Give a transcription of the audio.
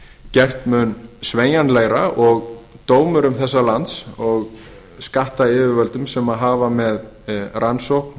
gert mun sveigjanlegra og dómurum þessa lands og skattyfirvöldum sem hafa með rannsókn